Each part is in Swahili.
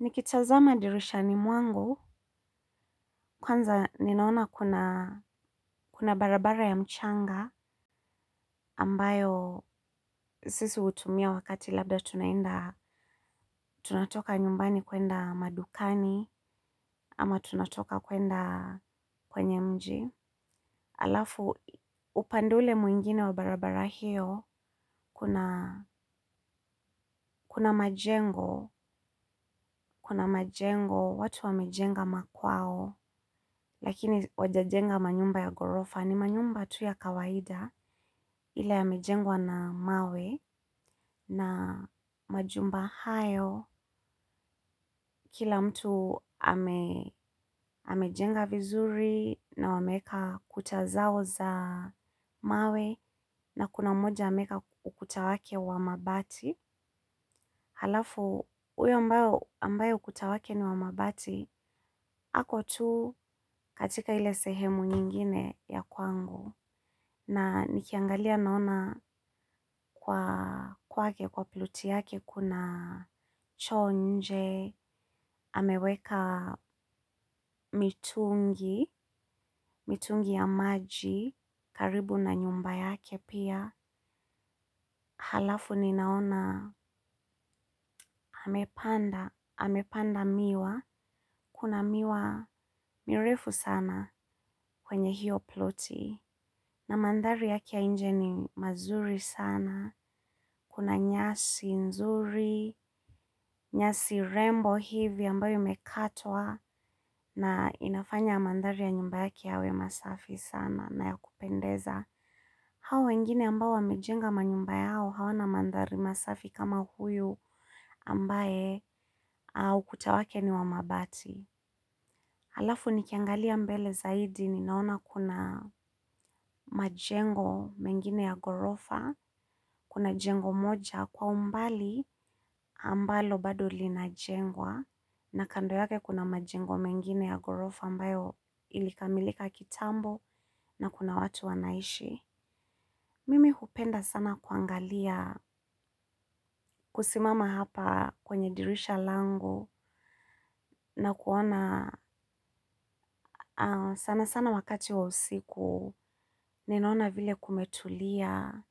Nikitazama dirishani mwangu, kwanza ninaona kuna barabara ya mchanga ambayo sisi utumia wakati labda tunaenda tunatoka nyumbani kwenda madukani ama tunatoka kwenda kwenye mji. Alafu, upande ule mwingine wa barabara hiyo, kuna majengo, kuna majengo, watu wamejenga makwao, lakini wajajenga manyumba ya gorofa, ni manyumba tu ya kawaida, ile yamejengwa na mawe, na majumba hayo, kila mtu amejenga vizuri, na wameweka kuta zao za mawe, na kuna moja ameeka ukuta wake wa mabati, halafu uyo ambaye ukuta wake ni wa mabati, ako tu katika ile sehemu nyingine ya kwangu, na nikiangalia naona kwa kwake, kwa ploti yake kuna choo nje, ameweka mitungi, mitungi ya maji, karibu na nyumba yake pia, halafu ninaona amepanda, amepanda miwa, kuna miwa mirefu sana kwenye hiyo ploti. Na mandhari yake ya inje ni mazuri sana, kuna nyasi nzuri, nyasi rembo hivyo ambayo imekatwa na inafanya mandhari ya nyumba yake yawe masafi sana na ya kupendeza. Hao wengine ambao wamejenga manyumba yao hawana mandhari masafi kama huyu ambaye a ukuta wake ni wa mabati. Halafu nikangalia mbele zaidi ninaona kuna majengo mengine ya gorofa, kuna jengo moja kwa umbali ambalo bado linajengwa na kando yake kuna majengo mengine ya gorofa ambayo ilikamilika kitambo na kuna watu wanaishi. Mimi hupenda sana kwangalia kusimama hapa kwenye dirisha langu na kuona sana sana wakati wa usiku ninaona vile kumetulia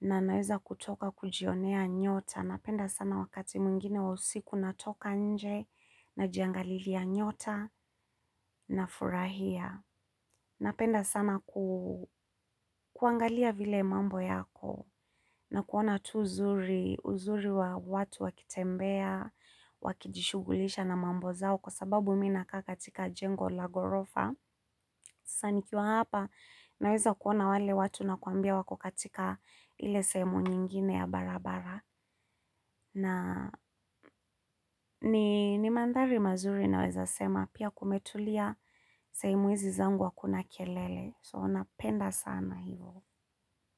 na naeza kutoka kujionea nyota napenda sana wakati mwingine wa usiku natoka nje najiangalilia nyota nafurahia. Napenda sana kwangalia vile mambo yako na kuona tu uzuri, uzuri wa watu wakitembea, wakijishughulisha na mambo zao kwa sababu mi nakaa katika jengo la gorofa. Sa nikiwa hapa naweza kuona wale watu nakwambia wako katika ile seemu nyingine ya barabara. Na ni mandhari mazuri naweza sema pia kumetulia seemu izi zangu akuna kelele. So napenda sana hivo.